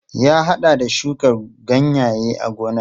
Ya haɗa da shuka ganyaye a gonar.